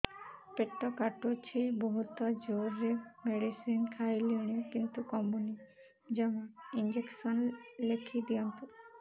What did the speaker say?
ପେଟ କାଟୁଛି ବହୁତ ଜୋରରେ ମେଡିସିନ ଖାଇଲିଣି କିନ୍ତୁ କମୁନି ଜମା ଇଂଜେକସନ ଲେଖିଦିଅନ୍ତୁ